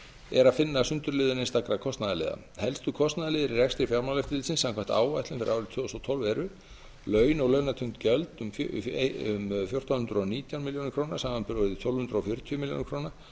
er að finna sundurliðun einstakra kostnaðarliða helstu kostnaðarliðir í rekstri fjármálaeftirlitsins samkvæmt áætlun fyrir árið tvö þúsund og tólf eru laun og launatengd gjöld um fjórtán hundruð og nítján milljónum króna samanber tólf hundruð fjörutíu milljónir króna